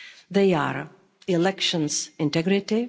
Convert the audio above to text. They are elections' integrity